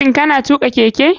Shin kana tuka keke.